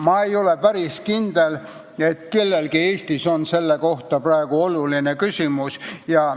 Ma ei ole päris kindel, et Eestis on kellelgi sellest praegu ülevaadet.